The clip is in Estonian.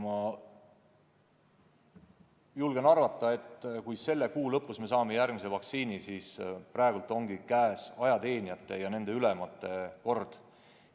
Ma julgen arvata, et kui me selle kuu lõpus saame järgmise vaktsiinipartii, siis ongi käes ajateenijate ja nende ülemate kord.